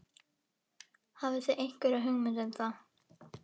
Hafið þið einhverja hugmynd um það?